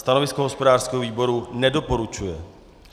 Stanovisko hospodářského výboru - nedoporučuje.